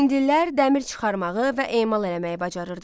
Hindlilər dəmir çıxarmağı və emal eləməyi bacarırdılar.